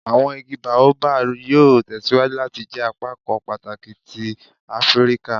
Awọn igi Baobab yoo tẹsiwaju lati jẹ apakan pataki ti Afirika